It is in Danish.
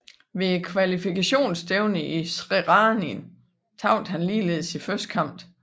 Ved kvalifikationsstævnet i Zrenjanin tabte han ligeledes sin første kamp